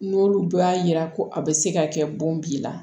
N'olu y'a yira ko a bɛ se ka kɛ bon b'i la